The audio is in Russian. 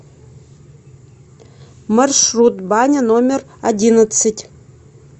маршрут баня номер одиннадцать